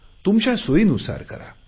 तुमच्या सोयीनुसार करा